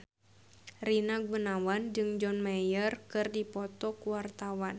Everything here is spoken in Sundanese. Rina Gunawan jeung John Mayer keur dipoto ku wartawan